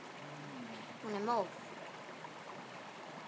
Hún er móð.